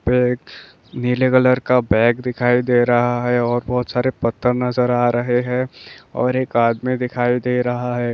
एक नीले कलर का बैग दिखाई दे रहा है और बहुत सारे पथ्थर नजर आ रहे है। और एक आदमी दिखाई दे रहा है ।